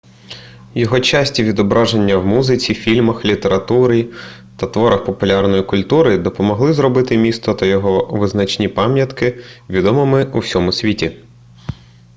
його часті відображення в музиці фільмах літературі та творах популярної культури допомогли зробити місто та його визначні пам'ятки відомими у всьому світі